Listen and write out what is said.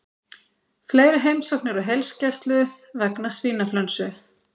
Fleiri heimsóknir á heilsugæslu vegna svínaflensu